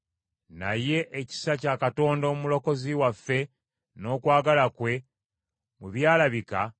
Naye ekisa kya Katonda Omulokozi waffe n’okwagala kwe bwe byalabika,